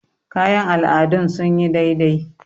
kayan al'adun sun yi dai dai